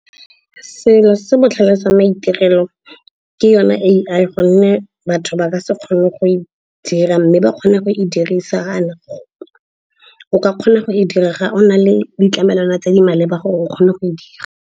Selo se botlhale jwa maitirelo ke yone A_I gonne batho ba ka se kgone go e dira mme ba kgona go e dirisa. O ka kgona go e dira ga o na le ditlamelwana tse di maleba gore o kgone go e dira.